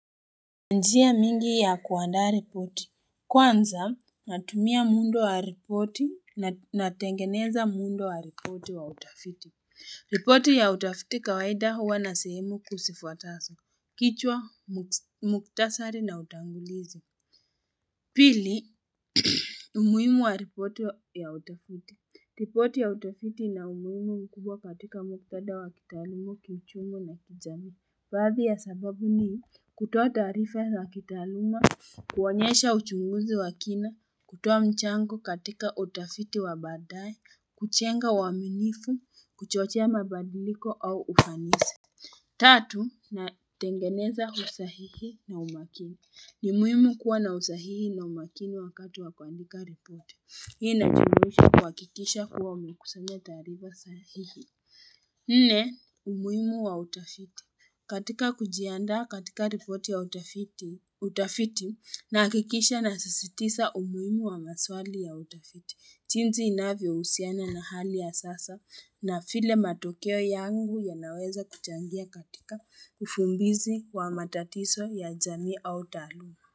Njia mingi ya kuandaa ripoti. Kwanza natumia muundo wa ripoti na tengeneza muundo wa ripoti wa utafiti. Ripoti ya utafiti kawaida huwa na sehemu kuu sifuataso. Kichwa, muktasari na utangulizo. Pili umuhimu wa ripoti ya utafiti. Ripoti ya utafiti ina umuhimu mkubwa katika muktadha wa kitaalumu, kiuchumi na kijami. Baadhi ya sababu ni kutoa taarifa za kitaaluma, kuonyesha uchunguzi wa kina, kutoa mchango katika utafiti wa baadaye, kuchenga uaminifu, kuchochea mabadiliko au ufanisi. Tatu, natengeneza usahihi na umakini. Ni muhimu kuwa na usahihi na umakini wakati wa kuandika ripoti. Hii inajumuisha kuhakikisha kuwa umekusanya taarifa sahihi. Nne, umuhimu wa utafiti katika kujiandaa katika ripoti ya utafiti nahakikisha nasisitisa umuimu wa maswali ya utafiti. Chinzi inavyousiana na hali ya sasa na file matokeo yangu yanaweza kuchangia katika ufumbizi wa matatiso ya jamii au taaluma.